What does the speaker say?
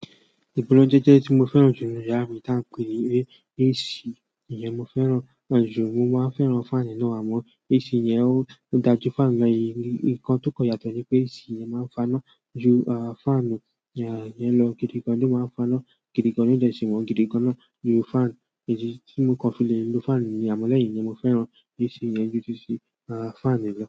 Igbonajeje tí mo fẹ́ràn jù ní inú yàrá mi, ta ń pè ní AC. Iyẹn mo fẹ́ràn jù, mo máa ń fẹ́ràn fáànù náà àmọ́ AC yẹn ó dájú fáànù lọ náà, e ǹkan tó kon yàtọ̀ ni pé AC yẹn má ń fa iná jù fáànù yẹn lọ. Gidi gan, ni o má ń fa iná gidi gan, lo de sí wọn gidi gan na jù fáànù. Ìdí tí mo kan fi lè lò fáànù ni yẹn, àmọ́ lẹ́yìn ìyẹn mo fẹ́ràn AC yẹn jù titi fáànù lọ.